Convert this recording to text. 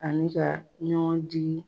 Ani ka ɲɔgɔn digi.